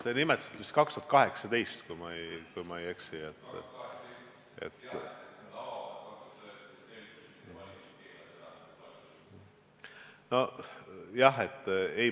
Te nimetasite vist aastat 2018, kui ma ei eksi.